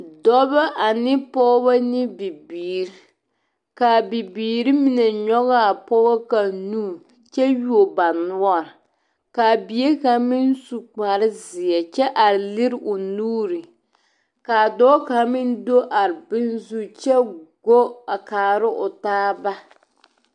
Dɔbɔ ane pɔgebɔ ane bibiiri ka a bibiiri mine nyɔge a pɔge kaŋa nu kyɛ yuo ba noɔre ka a bie kaŋ meŋ su kpare zie kyɛ are liri o nuuri ka a dɔɔ kaŋa meŋ do are boŋ zu kyɛ go a kaara o taaba.